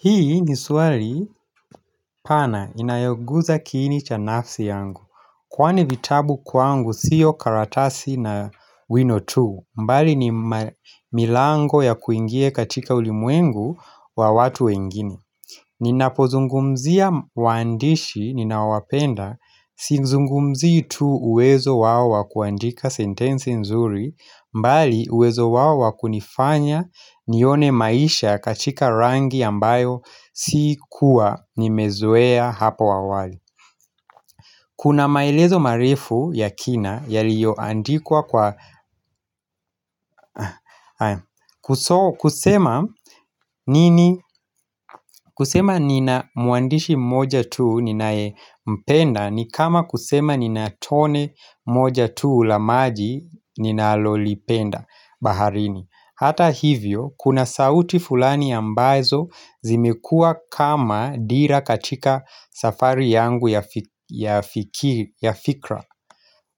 Hii ni swali pana inayoguza kiini cha nafsi yangu Kwani vitabu kwangu sio karatasi na wino tu mbali ni milango ya kuingie katika ulimwengu wa watu wengine Ninapozungumzia waandishi ninawapenda Sizungumzi tu uwezo wao wa kuandika sentenzi nzuri mbali uwezo wao wa wakunifanya nione maisha katika rangi ambayo sikuwa nimezoea hapo awali Kuna maelezo marefu ya kina Yaliyoandikua kwa kusema nini kusema nina mwandishi mmoja tuu ninayempenda ni kama kusema nina tone moja tuu la maji ninalolipenda baharini Hata hivyo kuna sauti fulani ambazo zimekuwa kama dira katika safari yangu ya fikiru ya fikiri, ya fikra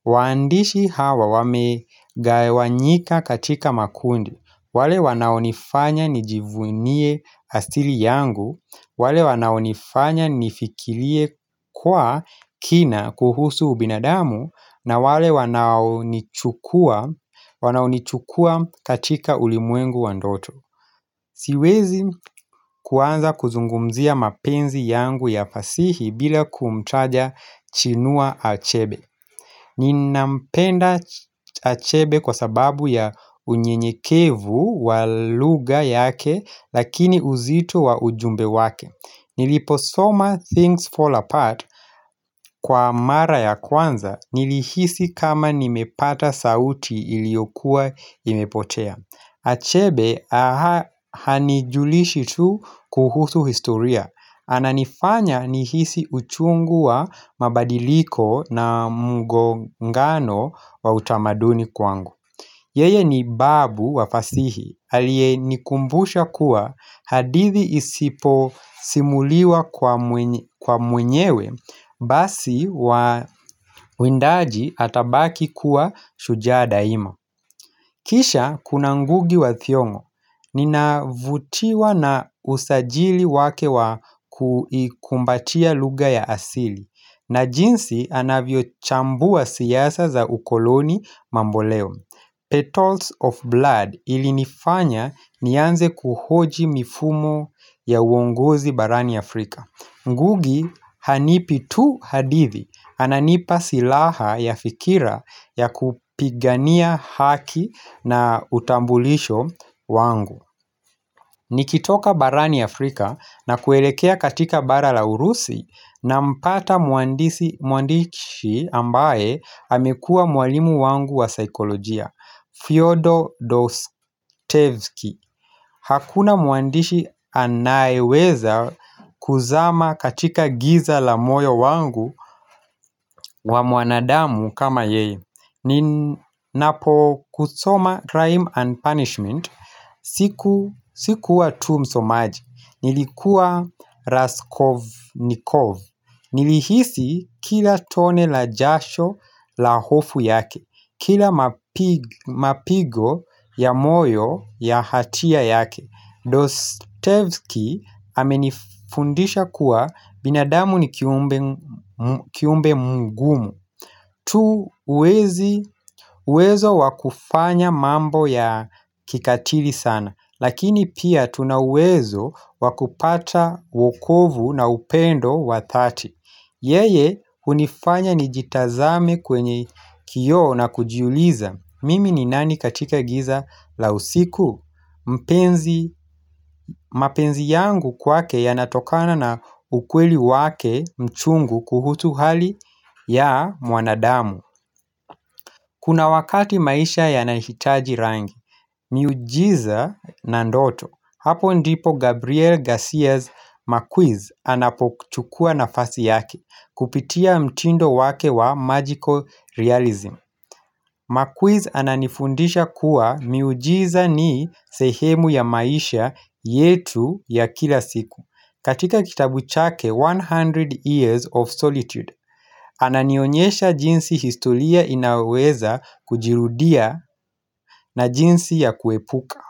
Waandishi hawa wame gawanyika katika makundi. Wale wanaonifanya nijivunie hastili yangu wale wanaonifanya nifikirie kwa kina kuhusu ubinadamu na wale wanaonichukua katika ulimwengu wa ndoto Siwezi kuanza kuzungumzia mapenzi yangu ya fasihi bila kumtaja chinua achebe Ninampenda achebe kwa sababu ya unyenyekevu wa lugha yake Lakini uzito wa ujumbe wake. Niliposoma things fall apart kwa mara ya kwanza Nilihisi kama nimepata sauti iliyokuwa imepotea Achebe hanijulishi tu kuhusu historia. Ananifanya nihisi uchungu wa mabadiliko na mgongano wa utamaduni kwangu Yeye ni babu wa fasihi aliye nikumbusha kuwa hadithi isiposimuliwa kwa mwenyewe Basi wa windaji atabaki kuwa shujaa daima Kisha Kuna ngugi wa thiongo Ninavutiwa na usajili wake wa kukumbatia lugha ya asili na jinsi anavyochambua siasa za ukoloni mamboleo Petals of blood ilinifanya nianze kuhoji mifumo ya uongozi barani Afrika. Ngugi hanipi tu hadithi Ananipa silaha ya fikira ya kupigania haki na utambulisho wangu Nikitoka barani Afrika na kuelekea katika bara la urusi nampata mwandishi ambaye amekua mwalimu wangu wa saikolojia Fyodor Dostevsky Hakuna mwandishi anayeweza kuzama katika giza la moyo wangu wa mwanadamu kama yeye Ninapo kusoma crime and punishment sikuwa tu msomaji Nilikuwa raskovnikov Nilihisi kila tone la jasho la hofu yake Kila mapigo ya moyo ya hatia yake. Dostevski amenifundisha kuwa binadamu ni kiumbe mgumu tu uwezo wa kufanya mambo ya kikatili sana Lakini pia tuna uwezo wa kupata wokovu na upendo wa dhati. Yeye hunifanya nijitazame kwenye kioo na kujiuliza Mimi ni nani katika giza la usiku mpenzi, mapenzi yangu kwake yanatokana na ukweli wake mchungu kuhutu hali ya mwanadamu Kuna wakati maisha yanahitaji rangi, miujiza na ndoto. Hapo ndipo Gabriel Garcia's McQuiz anapochukua nafasi yake kupitia mtindo wake wa magical realism Makwiz ananifundisha kuwa miujiza ni sehemu ya maisha yetu ya kila siku. Katika kitabu chake 100 Years of Solitude, ananionyesha jinsi historia inaweza kujirudia na jinsi ya kuepuka.